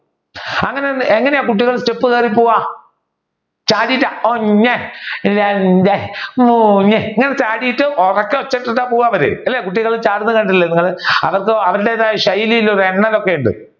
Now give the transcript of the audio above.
അങ്ങനെ എങ്ങനെയാണ് കുട്ടികൾ step കേറി പോവുക ചാടിയിട്ട് ഒന്ന് രണ്ട് മൂന്ന് ഇങ്ങനെ ചാടിയിട്ട് ഉറക്കെ എടുത്തിട്ട പോവാറുള്ളത് കുട്ടികൾ ചാടുന്ന കണ്ടിട്ടില്ലേ നിങ്ങൾ അവർ അവരുടേതായ ശൈലികളും